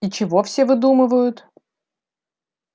и чего все выдумывают